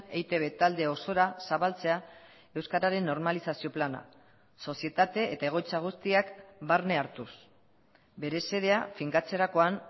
eitb talde osora zabaltzea euskararen normalizazio plana sozietate eta egoitza guztiak barne hartuz bere xedea finkatzerakoan